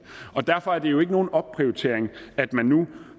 og derfor er det jo ikke nogen opprioritering at man nu